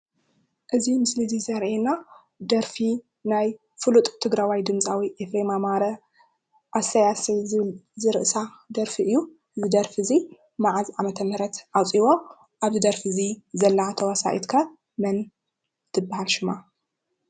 እዚ ምስሊ ዘርአና እደርፊ ናይ ፍሉጥ ትግራዋይ ድማፃዊ ኤፍሬም ኣማረ ኣሰይ ኣሰይ ዝብል ዝርእሳ ደርፊ እዩ። ዝደርፊ እዚ መዓዝ ዓመተ ምህረት ኣውፂዎ? ኣብዚ ደርፊ እዚ ዘላ ተዋሳኢት ከ መን ትብሃል ሽማ ?